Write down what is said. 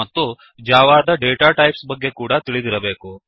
ಮತ್ತು ಜಾವಾದ data types ಬಗ್ಗೆ ಕೂಡಾ ತಿಳಿದಿರಬೇಕು